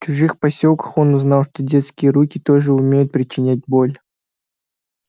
в чужих посёлках он узнал что детские руки тоже умеют причинять боль